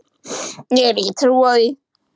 Ég hef ekki trú á því.